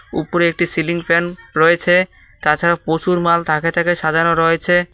উপরে একটি ceiling fan রয়েছে তাছাড়া পশুর মাল থাকে থাকে সাজানো রয়েছে।